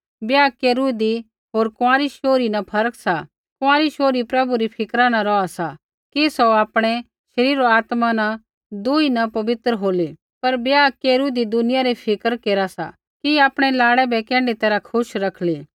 ब्याह केरू हुन्दी होर कुँआरी शोहरी न फर्क सा कुँआरी शोहरी प्रभु री फिक्रा न रौहा सा कि सौ आपणै शरीरा होर आत्मा न तिन्हां दुई न पवित्र होलै पर ब्याह केरू हुन्दी दुनिया री फिक्र केरा सा कि आपणै लाड़ै बै कैण्ढै तैरहा खुश रखली